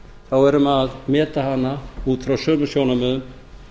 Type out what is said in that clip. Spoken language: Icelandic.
þá verðum við að meta hana út frá sömu sjónarmiðum